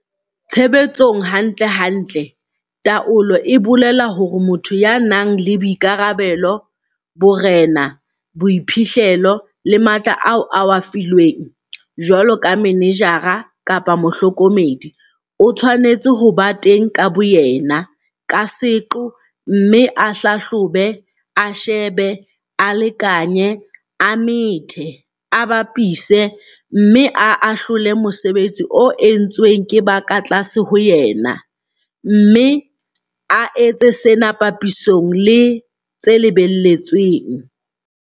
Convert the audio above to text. Tshebetsong hantlentle taolo e bolela hore motho ya nang le boikarabelo, borena, boiphihlelo le matla ao a a filweng, jwalo ka manejara kapa mohlokomedi, o tshwanetse ho ba teng ka boyena, ka seqo, mme a hlahlobe, a shebe, a lekanye, a methe, a bapise, mme a ahlole mosebetsi o entsweng ke ba ka tlase ho yena, mme a etse sena papisong le tse lebelletsweng.